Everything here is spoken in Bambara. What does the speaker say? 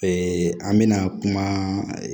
an mɛna kuma